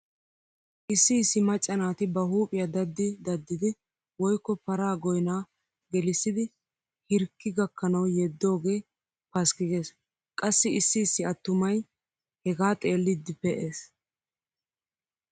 Issi issi macca naati ba huuphiya daddii daddidi woykko paraa goynaa gelissidi hirkki gakkanawu yeddoogee paskki gees. Qassi issi issi attumay hegaa xeelliiddi pe'es.